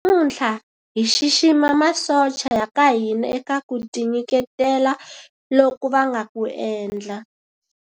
Namuntlha hi xixima masocha ya ka hina eka ku tinyiketela loku va nga ku endla.